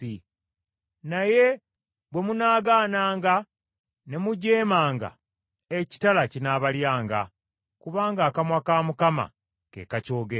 naye bwe munaagaananga ne mujeemanga ekitala kinaabalyanga,” kubanga akamwa ka Mukama ke kakyogedde.